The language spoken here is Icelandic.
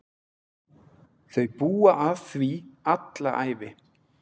Þau búa að því alla ævi.